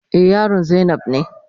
Eh, yaron zainab ne.